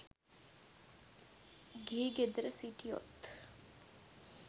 ගිහි ගෙදර සිටියොත්